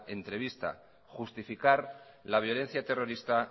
entrevista justificar la violencia terrorista